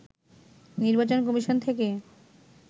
নির্বাচন কমিশন থেকে